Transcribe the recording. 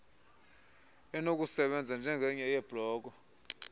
enokusebenza njengenye yeebloko